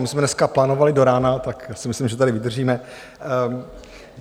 My jsme dneska plánovali do rána, tak si myslím, že tady vydržíme.